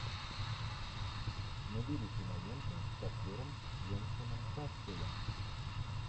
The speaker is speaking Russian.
набери киноленту с актером венсаном касселем